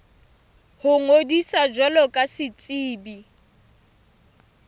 ho ngodisa jwalo ka setsebi